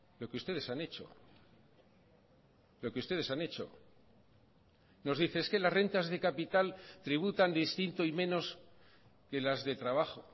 lo que ustedes han hecho lo que ustedes han hecho nos dice es que las rentas de capital tributan distinto y menos que las de trabajo